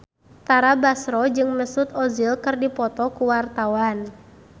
Tara Basro jeung Mesut Ozil keur dipoto ku wartawan